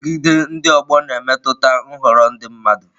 Nrụgide ndị ọgbọ na-emetụta nhọrọ ndị mmadụ.